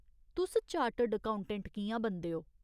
तुस chartered accountant कि'यां बनदे ओ ?